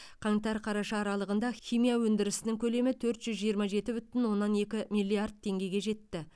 қаңтар қараша аралығында химия өндірісінің көлемі төрт жүз жиырма жеті бүтін оннан екі миллиард теңгеге жетті